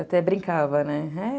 Até brincava, né?